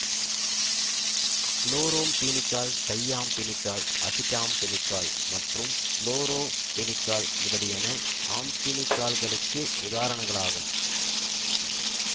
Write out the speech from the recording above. chloramphenicol thiamphenicol azidamfenicol மற்றும் florfenicol முதலியன ஆம்பீனிகால்களுக்கு உதாரணங்களாகும்